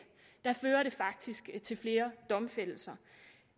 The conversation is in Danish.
fører det faktisk til flere domfældelser